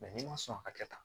n'i ma sɔn ka kɛ tan